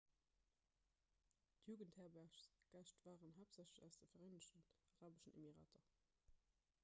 d'jugendherbergsgäscht waren haaptsächlech aus de vereenegten arabeschen emirater